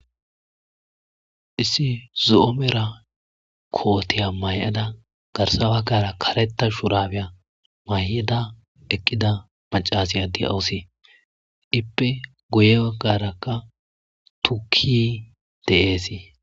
issi zu7oomera kootiya may7ada garsa baggara kareta shurabiya may7ada eqqida macasiya di'awusi ippe goye baggarakka tuki de7eesii